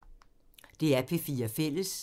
DR P4 Fælles